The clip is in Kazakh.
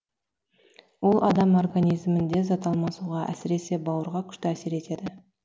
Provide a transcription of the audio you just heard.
ол адам организмінде зат алмасуға әсіресе бауырға күшті әсер етеді